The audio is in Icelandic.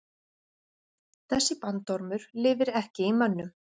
Þessi bandormur lifir ekki í mönnum.